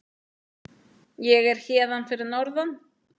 Ég er hérna fyrir norðan.